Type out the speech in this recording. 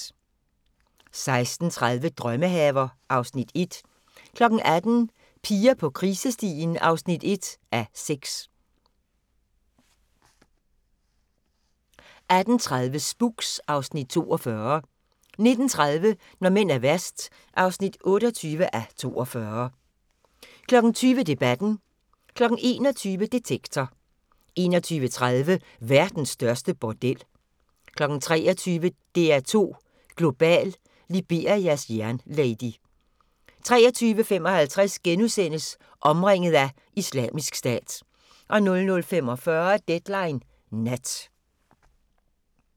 16:30: Drømmehaver (Afs. 1) 18:00: Piger på krisestien (1:6) 18:30: Spooks (Afs. 42) 19:30: Når mænd er værst (28:42) 20:00: Debatten 21:00: Detektor 21:30: Verdens største bordel 23:00: DR2 Global: Liberias jernlady 23:55: Omringet af Islamisk Stat * 00:45: Deadline Nat